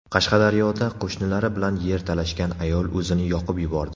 Qashqadaryoda qo‘shnilari bilan yer talashgan ayol o‘zini yoqib yubordi.